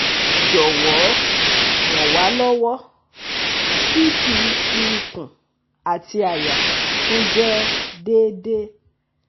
Jọwọ ran wa lọwọ (CT ti ikun ati àyà tun jẹ deede)